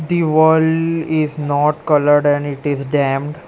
The wall is not coloured and it is damped.